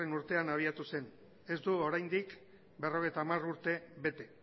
urtean abiatu zen ez du oraindik berrogeita hamar urte bete